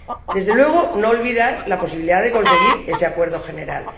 Desde luego, no olvidar la posibilidad de conseguir ese acuerdo general.